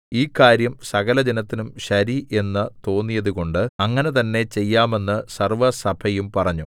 ഈ കാര്യം സകലജനത്തിനും ശരി എന്നു തോന്നിയതുകൊണ്ട് അങ്ങനെ തന്നേ ചെയ്യാമെന്ന് സർവ്വസഭയും പറഞ്ഞു